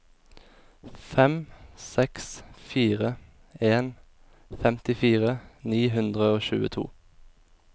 fem seks fire en femtifire ni hundre og tjueto